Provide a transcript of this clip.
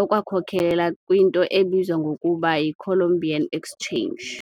okwakhokelela kwinto ebizwa ngokuba yi " Columbian Exchange ".